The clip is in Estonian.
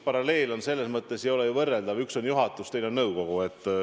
Paralleel selles mõttes ei ole ju võrreldav: üks on juhatus, teine on nõukogu.